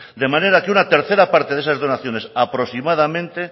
de manera que una tercera parte de esas donaciones aproximadamente